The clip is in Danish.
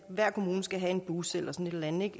hver kommune skal have en bus eller sådan et